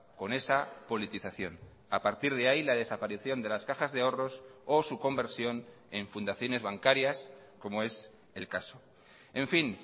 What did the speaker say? con esa politización a partir de ahí la desaparición de las cajas de ahorros o su conversión en fundaciones bancarias como es el caso en fin